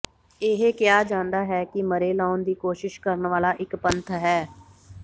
ਇਹ ਕਿਹਾ ਜਾਂਦਾ ਹੈ ਕਿ ਮਰੇ ਲਾਉਣ ਦੀ ਕੋਸ਼ਿਸ਼ ਕਰਨ ਵਾਲਾ ਇੱਕ ਪੰਥ ਹੈ